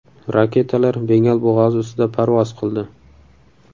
Raketalar Bengal bo‘g‘ozi ustida parvoz qildi.